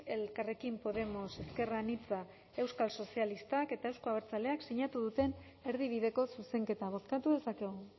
elkarrekin podemos ezker anitza euskal sozialistak eta euzko abertzaleek sinatu duten erdibideko zuzenketa bozkatu dezakegu